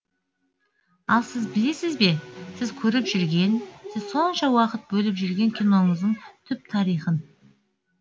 ал сіз білесіз бе сіз көріп жүрген сіз сонша уақыт бөліп жүрген киноңыздың түп тарихын